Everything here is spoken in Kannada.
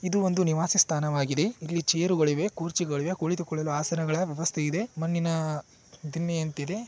ಇದು ಒಂದು ನಿವಾಸ ಸ್ಥಾನವಾಗಿದೆ ಇಲ್ಲಿ ಚೇರು ಗಳಿವೆ ಕುರ್ಚಿಗಳಿವೆ ಕುಳಿತುಕೊಳ್ಳಲು ಹಾಸನಗಳ ವ್ಯವಸ್ಥೆ ಇದೆ ಮಣ್ಣಿನ ದಿಮ್ಮಿ ಅಂತಿದೆ.